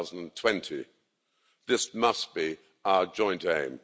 2020. This must be our joint aim.